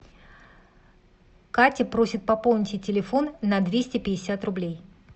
катя просит пополнить ей телефон на двести пятьдесят рублей